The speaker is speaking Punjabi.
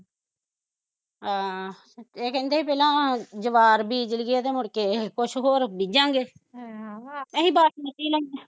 ਹਾਂ ਏਹ ਕਹਿੰਦੇ ਪਹਿਲਾਂ ਜਵਾਹਰ ਬੀਜ ਲੀਏ ਤੇ ਮੁੜਕੇ, ਕੁਸ਼ ਹੋਰ ਬੀਜਾਂਗੇ ਆਹ ਅਸੀਂ ਬਾਸਮਤੀ ਲਾਉਂਦੇ